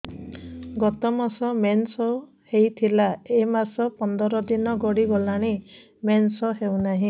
ଗତ ମାସ ମେନ୍ସ ହେଇଥିଲା ଏ ମାସ ପନ୍ଦର ଦିନ ଗଡିଗଲାଣି ମେନ୍ସ ହେଉନାହିଁ